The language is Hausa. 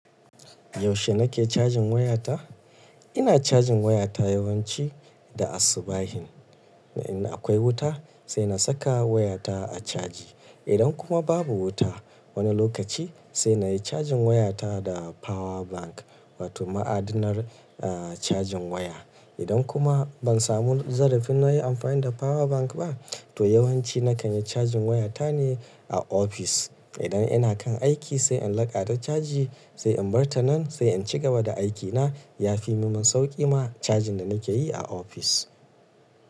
Yaushe nake cajin wayata? Ina cajin wayata yawanci da asubahin. In akwai wuta, sai na saka wayata a caji. Idan kuma babu wuta wani lokaci, sai na yi cajin wayata da power bank wato ma'adinan, eh, cajin waya. Idan kuma ban samu zarafin na yi amfani da power bank ba, to yawanci nakan yi cajin wayata ne a ofis. Idan ina kan aiki sai in laƙa ta caji, sai in bar ta nan, sai in ci gaba da aikina. Yafi min sauƙi ma cajin da nake yi a ofis.